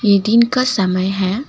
ये दिन का समय है।